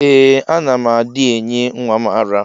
Ee ana m adi enye nwam ara.